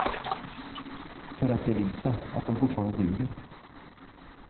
För att bevisa att de fortfarande duger.